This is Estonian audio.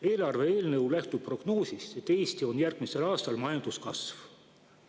Eelarve eelnõu lähtub prognoosist, et Eestis on järgmisel aastal majanduskasv.